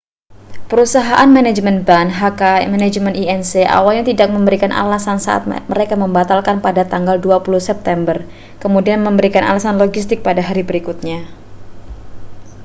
perusahaan manajemen band hk management inc awalnya tidak memberikan alasan saat membatalkan pada tanggal 20 september kemudian memberikan alasan logistik pada hari berikutnya